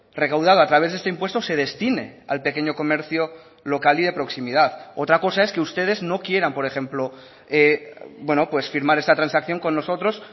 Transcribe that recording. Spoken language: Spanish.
recaudado a través de este impuesto se destine al pequeño comercio local y de proximidad otra cosa es que ustedes no quieran por ejemplo firmar esta transacción con nosotros